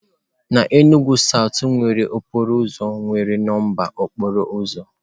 N'Enugwu south nwere okporo ụzọ nwere nọmba okporo ụzọ.